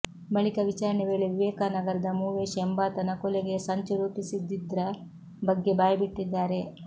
ಬಳಿಕ ವಿಚಾರಣೆ ವೇಳೆ ವಿವೇಕನಗರದ ಮೂವೇಶ್ ಎಂಬಾತನ ಕೊಲೆಗೆ ಸಂಚು ರೂಪಿಸಿದ್ದಿದ್ರ ಬಗ್ಗೆ ಬಾಯ್ಬಿಟ್ಟಿದ್ದಾರೆ